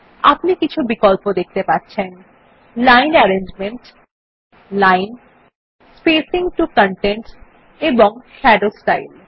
আপনি কিছু বিকল্প দেখতে পাচ্ছেন line arrangement line spacing to contents এবং শাদো স্টাইল